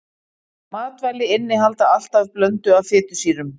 Matvæli innihalda alltaf blöndu af fitusýrum.